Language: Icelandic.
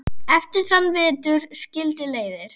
Eftir þann vetur skildi leiðir.